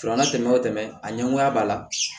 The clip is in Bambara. Fara tɛmɛn o tɛmɛn a ɲɛngoya b'a la